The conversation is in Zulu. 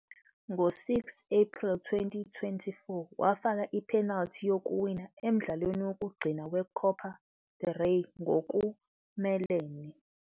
Ngo-6 April 2024, wafaka i-penalty yokuwina emdlalweni wokugcina we-Copa del Rey ngokumelene